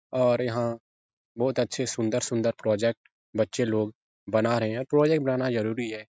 और यहाँ बहुत अच्छे सुंदर-सुंदर प्रोजेक्ट बच्चे लोग बना रहे हैं और प्रोजेक्ट बनाना ज़रूरी है।